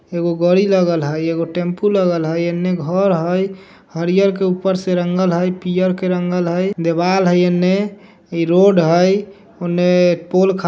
एगो गाड़ी लगल हई एगो टेंपू लगल हई इने घर हई हरियर के ऊपर से रंगल हई पियर के रंगल हई देवाल है इने इ रोड हई उने पोल ख --